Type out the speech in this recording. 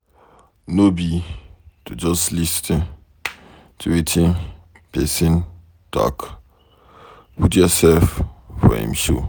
No be to just lis ten to wetin pesin talk, put yourself for em shoe.